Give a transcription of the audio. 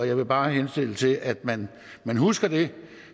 jeg vil bare henstille til at man husker det